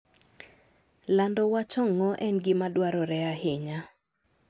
Lando wach ong'o en gima dwarore ahinya.